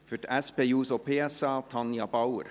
Für die SP-JUSO-PSA: Tanja Bauer.